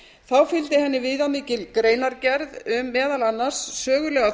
þá fylgdi henni viðamikil greinargerð um meðal annars sögulega